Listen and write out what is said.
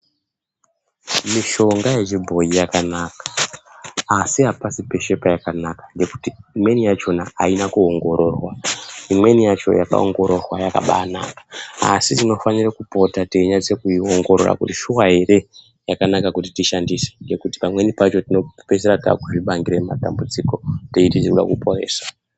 Mishonga yechibhoyi yakanaka asi hapasi peshe payakanaka ngekuti imweni yachona haina kuongororwa. Imweni yacho yakaongororwa yakabanaka asi tinofanire kupota teinyatsoiongorora kuti shuwa here yakanaka kuti tishandise ngekuti pamweni pacho tinopedzisira taku zvibangire matambudziko teiti tinoda kuporesa.